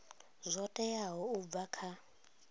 zwo teaho u bva kha